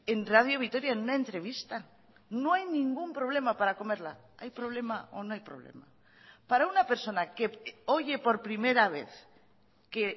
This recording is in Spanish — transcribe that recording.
en radio vitoria en una entrevista no hay ningún problema para comerla hay problema o no hay problema para una persona que oye por primera vez que